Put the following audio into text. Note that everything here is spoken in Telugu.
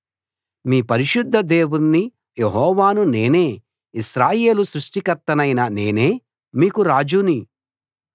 మీ పరిశుద్ధ దేవుణ్ణి యెహోవాను నేనే ఇశ్రాయేలు సృష్టికర్తనైన నేనే మీకు రాజుని